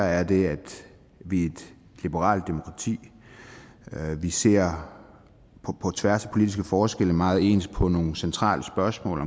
er det at vi er et liberalt demokrati vi ser på tværs af politiske forskelle meget ens på nogle centrale spørgsmål